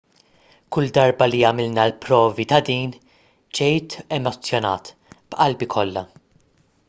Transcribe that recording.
kull darba li għamilna l-provi ta' din ġejt emozzjonat b'qalbi kollha